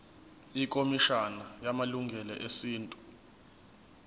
ikhomishana yamalungelo esintu